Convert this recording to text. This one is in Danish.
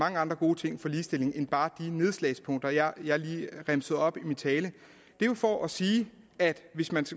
mange andre gode ting for ligestillingen end bare de nedslagspunkter jeg lige remsede op i min tale det er jo for at sige at hvis man